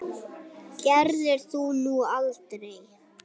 Það gerðir þú nú aldrei.